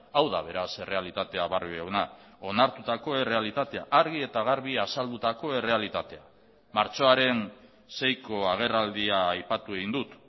hau da beraz errealitatea barrio jauna onartutako errealitatea argi eta garbi azaldutako errealitatea martxoaren seiko agerraldia aipatu egin dut